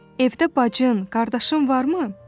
Evdə bacın, qardaşın varmı?